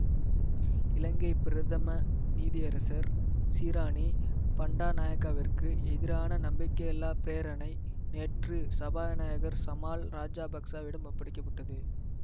இலங்கை பிரதம நீதியரசர் சிராணி பண்டாநாயக்கவிற்கு எதிரான நம்பிக்கையில்லாப் பிரேரணை நேற்று சபாநாயகர் சமால் ராஜாபக்சவிடம் ஒப்படைக்க பட்டது